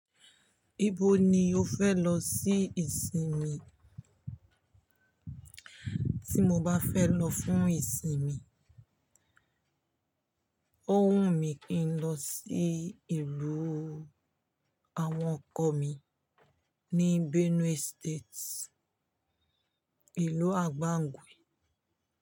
Ibo ni o fẹ lọ sí ìsinmi? Tí mo bá fẹ́ lọ fún ìsinmi, ó wùn mí kí n lọ sí ìlú àwọn ọkọ mi ní Benue State, ìlú Agbangwi.